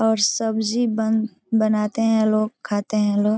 और सब्जी बन बनाते हैं लोग खाते हैं लोग।